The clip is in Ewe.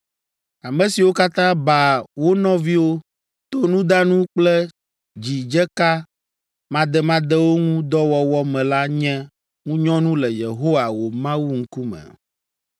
Ame siwo katã baa wo nɔviwo to nudanu kple dzidzeka mademadewo ŋu dɔ wɔwɔ me la nye ŋunyɔnu le Yehowa, wò Mawu ŋkume.